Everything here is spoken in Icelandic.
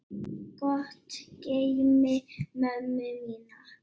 Gott geymi mömmu mína.